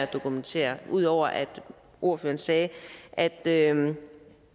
dokumentere ud over at ordføreren sagde at at